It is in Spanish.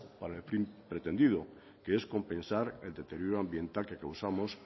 para el fin pretendido que es compensar el deterioro ambiental que causamos